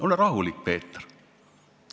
Ole rahulik, Peeter!